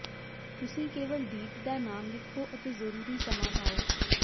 ਤੁਸੀਂ ਕੇਵਲ ਡੀਟ ਦਾ ਨਾਮ ਲਿਖੋ ਅਤੇ ਜ਼ਰੂਰੀ ਸਮਾਂ ਪਾਓ